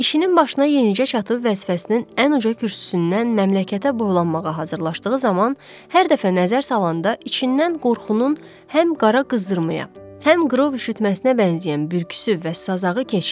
İşinin başına yenicə çatıb vəzifəsinin ən uca kürsüsündən məmləkətə boylanmağa hazırlaşdığı zaman hər dəfə nəzər salanda içindən qorxunun həm qara qızdırmaya, həm qrov üşütməsinə bənzəyən bürküsü və sazağı keçdi.